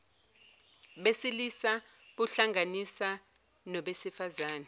besilisa buhlanganisa nobesifazane